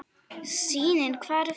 Sýnin hvarf.